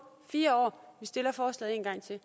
fire år vi stiller forslaget en gang til